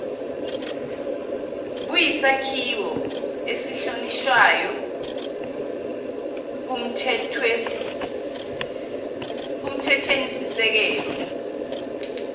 buyisakhiwo esihlonishwayo kumthethwenisisekelo